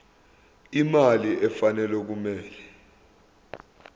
imali efanele okumele